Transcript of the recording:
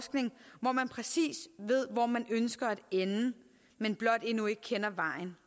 man præcis ved hvor man ønsker at ende men blot endnu ikke kender vejen